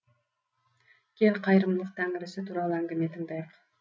кел қайырымдылық тәңірісі туралы әңгіме тыңдайық